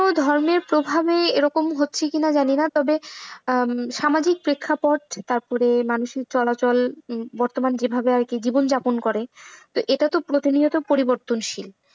ধর্মের প্রভাবে এরকম হচ্ছে কিনা জানিনা। তবে সামাজিক প্রেক্ষাপট তারপরে মানুষের চলাচল বর্তমান যেভাবে আরকি জীবন যাপন করে এটাতো প্রতিনিয়ত পরিবর্তনশীল।